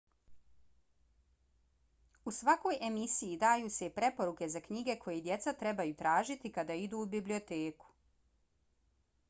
u svakoj emisiji daju se i preporuke za knjige koje djeca trebaju tražiti kada idu u biblioteku